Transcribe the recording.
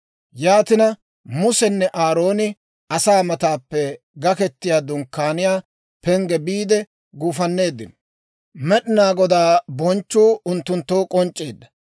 Yaatina Musenne Aarooni asaa mataappe Gaketiyaa Dunkkaaniyaa pengge biide guufanneeddino; Med'inaa Godaa bonchchuu unttunttoo k'onc'c'eedda.